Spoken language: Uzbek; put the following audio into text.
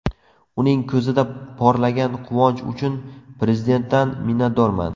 Uning ko‘zida porlagan quvonch uchun Prezidentdan minnatdorman.